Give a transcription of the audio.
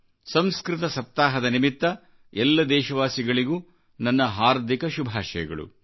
ಸಂಸ್ಕೃತ ಸಪ್ತಾಹದ ನಿಮಿತ್ತ ಎಲ್ಲ ದೇಶವಾಸಿಗಳಿಗೂನನ್ನ ಹಾರ್ದಿಕ ಶುಭಾಷಯಗಳು